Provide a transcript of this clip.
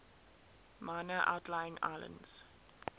minor outlying islands